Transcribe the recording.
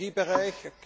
im Energiebereich.